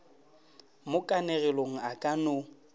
mo kanegelong a ka no